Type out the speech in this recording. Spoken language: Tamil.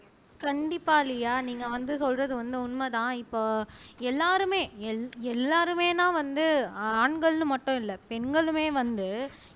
கண்டிப்பா லியா நீங்க வந்து சொல்றது வந்து உண்மைதான் இப்ப எல்லாருமே எல் எல்லாருமேனா வந்து ஆண்கள்ன்னு மட்டும் இல்லை பெண்களுமே வந்து